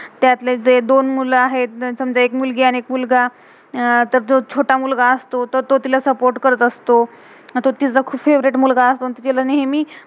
त्यातले जे दोन मुलं आहेत, समजा एक मुलगी आणि एक मुलगा. तर तो जो छोटा मुलगा असतो तो तिला सपोर्ट support करत असतो. आणि तोह तीचा फैवरेट favourite मुलगा असतो. आणी तिला नेहमी